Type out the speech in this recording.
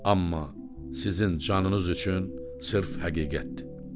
Amma sizin canınız üçün sırf həqiqətdir.